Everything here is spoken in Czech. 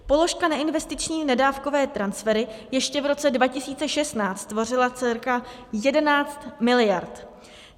Položka neinvestiční nedávkové transfery ještě v roce 2016 tvořila cca 11 miliard.